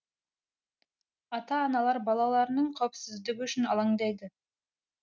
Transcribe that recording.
ата аналар балаларының қауіпсіздігі үшін алаңдайды